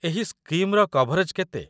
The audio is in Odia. ଏହି ସ୍କିମ୍‌ର କଭରେଜ୍ କେତେ?